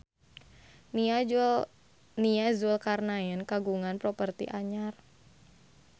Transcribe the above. Nia Zulkarnaen kagungan properti anyar